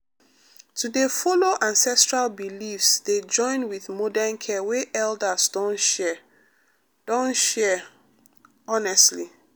to dey follow ancestral beliefs dey join with modern care wey elders don share don share pause honestly.